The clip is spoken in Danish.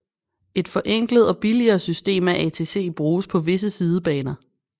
Et forenklet og billigere system af ATC bruges på visse sidebaner